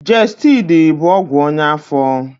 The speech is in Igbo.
Gestidi bụ ọgwụ ọnya afọ.